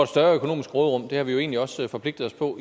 større økonomisk råderum det har vi jo egentlig også forpligtet os på